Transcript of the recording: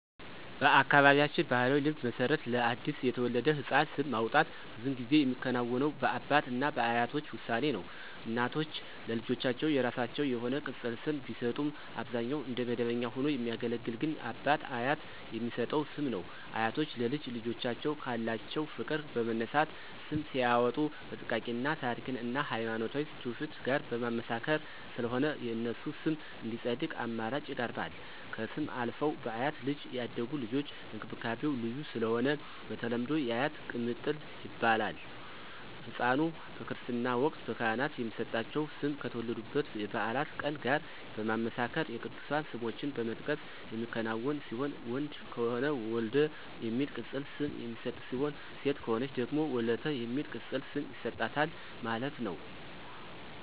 በአካባቢያችን ባሕላዊ ልማድ መሰረት ለአዲስ የተወለደ ሕፃን ስም ማውጣት ብዙውን ጊዜ የሚከናወነው በአባት እና በአያቶች ውሳኔ ነው። እናቶች ለልጆቻቸው የራሳቸው የሆነ ቅፅል ስም ቢሰጡም አብዛኛውን እንደ መደበኛ ሆኖ የሚያገለግል ግን አባት/አያት የሚሰጠው ስም ነው። አያቶች ለልጅ ልጆቻቸው ካላቸው ፍቅር በመነሳት ስም ሲያዎጡ በጥንቃቄ እና ታሪክን እና ሀይማኖታዊ ትውፊት ጋር በማመሳከር ስለሆነ የነሱ ስም እንዲፀድቅ አማራጭ ይቀርባል። ከስም አልፈው በአያት እጅ ያደጉ ልጆች እንክብካቤው ልዩ ስለሆነ በተለምዶ *የአያት ቅምጥል ይባላሉ*።ህፃኑ/ኗ በክርስትና ወቅት በካህናት የሚሰጣቸው ስም ከተወለዱበት የበዓላት ቀን ጋር በማመሳከር የቅዱሳን ስሞችን በመጥቀስ የሚከናወን ሲሆን ወንድ ከሆነ *ወልደ* የሚል ቅፅል ስም የሚሰጥ ሲሆን ሴት ከሆነች ደግሞ *ወለተ*የሚል ቅፅል ስም ይሰጣታል ማለት ነው